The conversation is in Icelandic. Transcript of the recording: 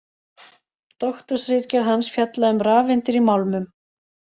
Doktorsritgerð hans fjallaði um rafeindir í málmum.